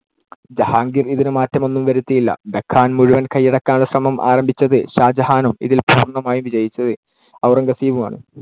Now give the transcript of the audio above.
ജഹാംഗീർ ഇതിനു മാറ്റമൊന്നും വരുത്തിയില്ല. ഡെക്കാൻ മുഴുവൻ കയ്യടക്കാനുളള ശ്രമം ആരംഭിച്ചത് ഷാജഹാനും ഇതിൽ പൂർണ്ണമായും വിജയിച്ചത് ഔറംഗസേബും ആണ്.